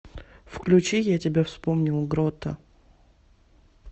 включи я тебя вспомнил грота